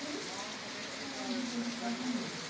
E, para um ano depois o casamento.